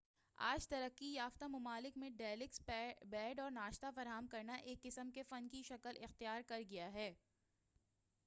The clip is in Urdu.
آج ترقی یافتہ ممالک میں ڈیلکس بیڈ اور ناشتہ فراہم کرنا ایک قسم کے فن کی شکل اختیار کر گیا ہے